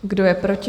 Kdo je proti?